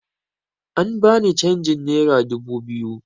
An bani canjin nera dubu biyu